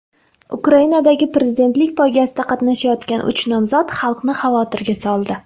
Ukrainadagi prezidentlik poygasida qatnashayotgan uch nomzod xalqni xavotirga soldi.